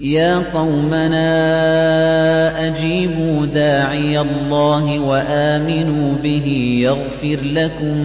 يَا قَوْمَنَا أَجِيبُوا دَاعِيَ اللَّهِ وَآمِنُوا بِهِ يَغْفِرْ لَكُم